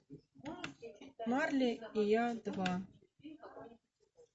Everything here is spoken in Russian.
марли и я два